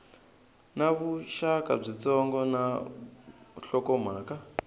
na vuxaka byitsongo na nhlokomhaka